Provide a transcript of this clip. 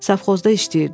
Safxozda işləyirdim.